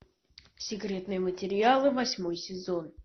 секретные материалы восьмой сезон